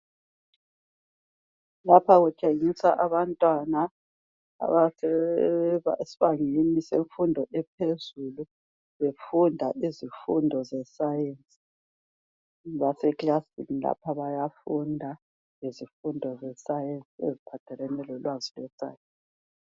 Lapha kutshengisa abantwana abasesibangeni semfundo ephezulu. Befunda izifundo zeScience. Baseklasini lapha bayafunda. Ngezifundo zeScience, eziphathelane lolwazi lweScience.